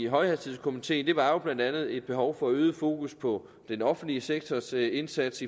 højhastighedskomiteen var jo blandt andet et behov for øget fokus på den offentlige sektors indsats